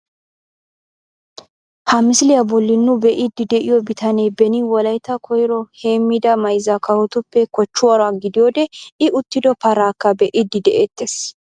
Ha misiliyaa bolli nu be'iidi de'iyoo bitaanee beeni wollaytta koyro heemida mayzza kawotuppe koochchoruwaa gidiyoode i uttido paraakka be'iidi de'eettees.